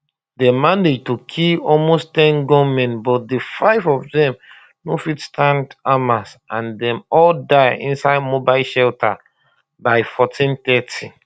dem manage to kill almost ten gunmen but di five of dem no fit stand hamas and dem all die inside mobile shelter by1430